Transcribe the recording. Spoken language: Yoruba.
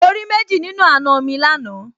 Mo rí méjì nínú àna mi lánàá